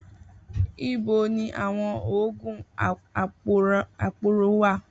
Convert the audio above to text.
Ibo ni àwọn oògùn aporó wà?